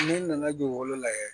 Ne nana dugukolo layɛ